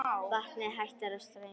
Vatnið hættir að streyma.